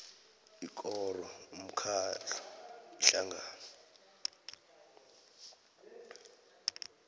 ikoro umkhandlu ihlangano